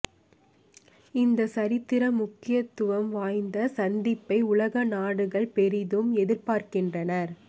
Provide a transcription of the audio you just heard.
இந்த சரித்திர முக்கியத்துவம் வாய்ந்த சந்திப்பை உலக நாடுகள் பெரிதும் எதிர்பார்க்கின்றன